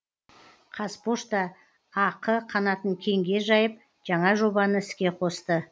қазпошта ақ қанатын кеңге жайып жаңа жобаны іске қосты